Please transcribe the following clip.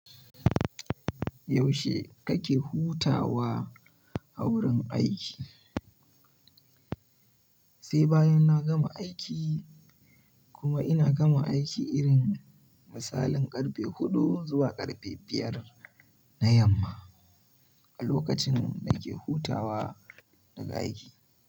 Yaushe kake hutawa a wurin aiki? Sai bayan na gama aiki kuma ina gama aiki irin misalin karfe huɗu zuwa karfe biyar na yamma a lokacin nake hutawa daga aiki.